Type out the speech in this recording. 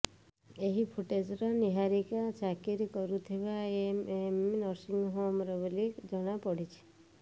ଏହି ଫୁଟେଜର ନିହାରୀକା ଚାକିରୀ କରୁଥିବା ଏମଏମ ନର୍ସିଂହୋମର ବୋଲି ଜଣାପଡିଛି